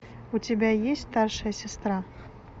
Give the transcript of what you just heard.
у тебя есть старшая сестра